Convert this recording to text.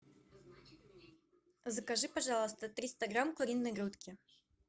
закажи пожалуйста триста грамм куриной грудки